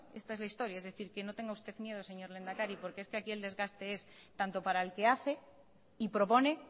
esta es la historia es decir que no tenga usted miedo señor lehendakari porque es que aquí el desgaste es tanto para el que hace y propone